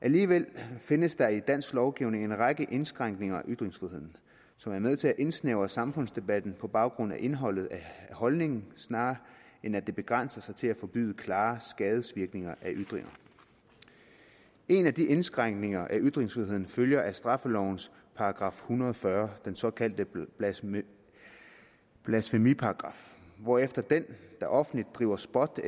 alligevel findes der i dansk lovgivning en række indskrænkninger af ytringsfriheden som er med til at indsnævre samfundsdebatten på baggrund af indholdet af holdningen snarere end at begrænse sig til at forbyde klare skadevirkninger af ytringer en af de indskrænkninger af ytringsfriheden følger af straffelovens § en hundrede og fyrre den såkaldte blasfemiparagraf hvorefter den der offentligt driver spot